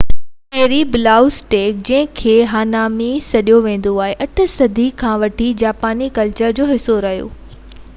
چيري blossoms ڏيک جنهنکي hanami سڏيو ويندو آهي 8 صدي کان وٺي جاپاني ڪلچر جو حصو رهيو آهي